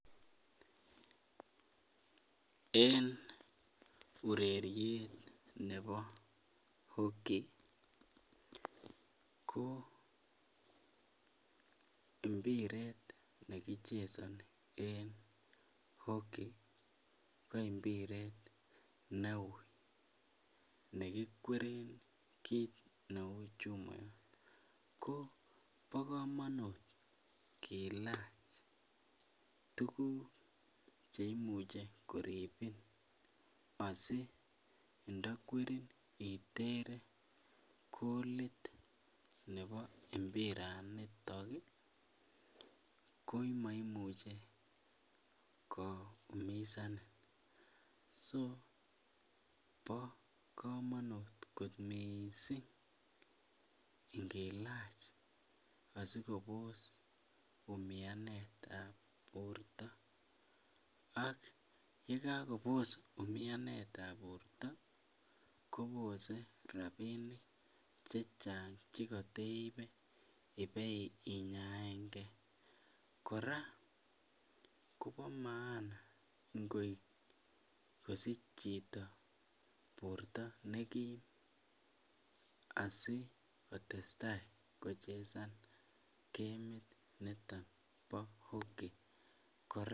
En ureriet Nebo hockey ko mbiret nekichesoni en hockey ko imbiret neui nekikweren ketit Neu Nebo chumoyot ko ba kamanut kilach tuguk cheimuche koribin asintakwerin itere bolit Nebo imbaraniton ko maimuch koumisanin so ba kamanut kot mising ingilachasikobos umianet ab borta ak yekakobos umianet ab borta kobose rabinik chechang chekateibe inyaen gei koraa Koba maana kosich Chito borta nekim asikotestai kochesan kemit niton Nebo hockey koraa?